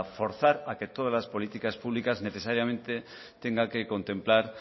forzar a que todas las políticas públicas necesariamente tengan que contemplar